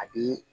A bi